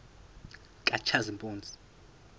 katshazimpuzi